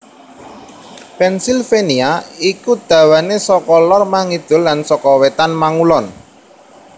Pennsylvania iku dawané saka lor mangidul lan saka wétan mangulon